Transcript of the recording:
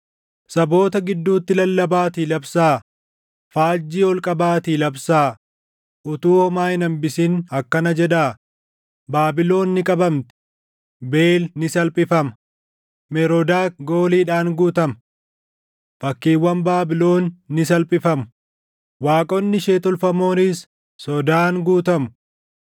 “Saboota gidduutti lallabaatii labsaa; faajjii ol qabaatii labsaa; utuu homaa hin hambisin akkana jedhaa; ‘Baabilon ni qabamti; Beel ni salphifama; Meroodak gooliidhaan guutama. Fakkiiwwan Baabilon ni salphifamu; waaqonni ishee tolfamoonis sodaan guutamu.’